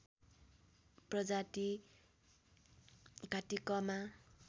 प्रजाति कात्तिकमा